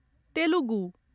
Telugu